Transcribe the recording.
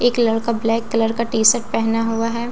एक लडका black colour का टी शर्ट पेहना हुआ हैं उसने --